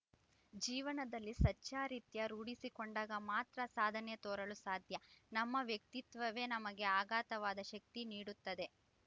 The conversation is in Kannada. ಜೀವನದಲ್ಲಿ ಸಚ್ಛಾರಿತ್ರ್ಯ ರೂಢಿಸಿಕೊಂಡಾಗ ಮಾತ್ರ ಸಾಧನೆ ತೋರಲು ಸಾಧ್ಯ ನಮ್ಮ ವ್ಯಕ್ತಿತ್ವವೇ ನಮಗೆ ಅಗಾಧವಾದ ಶಕ್ತಿ ನೀಡುತ್ತದೆ